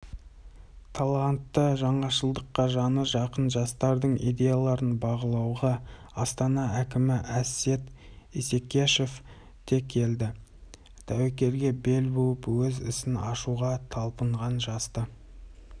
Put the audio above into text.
талантты жаңашылдыққа жаны жақын жастардың идеяларын бағалауға астана әкімі әсет исекешев те келді тәуекелге бел буып өз ісін ашуға талпынған жасты